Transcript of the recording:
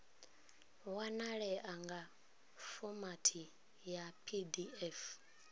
wanalea nga fomathi ya pdf